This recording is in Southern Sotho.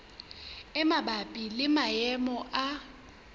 e mabapi le maemo a